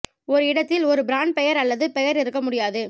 ஒரு இடத்தில் ஒரு பிராண்ட் பெயர் அல்லது பெயர் இருக்க முடியாது